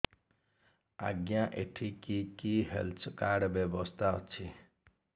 ଆଜ୍ଞା ଏଠି କି କି ହେଲ୍ଥ କାର୍ଡ ବ୍ୟବସ୍ଥା ଅଛି